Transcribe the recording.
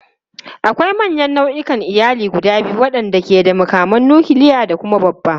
Akwai manyan nau'ikan iyali guda biyu waɗanda ke da makaman nukiliya da kuma babba.